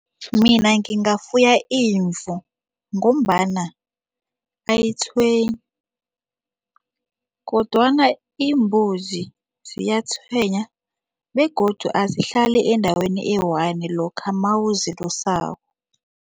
Mina ngingafuya imvu ngombana ayitshwenyi kodwana imbuzi ziyatshwenya begodu azihlali endaweni eyi-one lokha mawuzilusako.